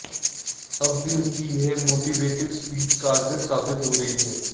अब भी उनकी यह मोटिवेटिव स्पीच कारगर साबित हो रही है